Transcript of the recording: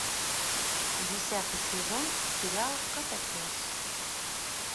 десятый сезон сериал котопес